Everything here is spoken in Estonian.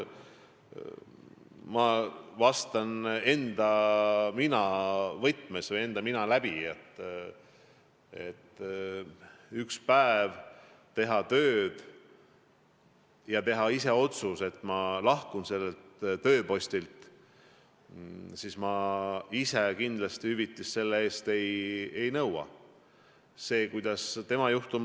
Ma vastan enda mina võtmes või enda mina läbi: kui üks päev teha tööd ja teha siis ise otsus, et ma lahkun sellelt tööpostilt, siis mina kindlasti hüvitist selle eest ei nõuaks.